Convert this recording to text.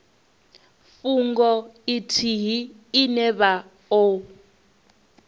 fhungo ithihi ine vha o